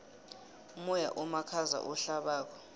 umoya omakhaza ohlabako